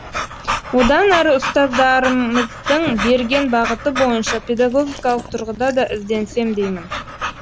одан әрі ұстаздарымыздың берген бағыты бойынша педагогикалық тұрғыда да ізденсем деймін